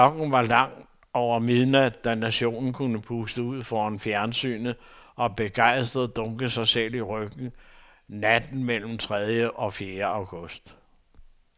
Klokken var langt over midnat, da nationen kunne puste ud foran fjernsynet og begejstret dunke sig selv i ryggen natten mellem tredje og fjerde august.